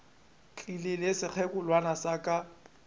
tlile le sekgekolwana sa ka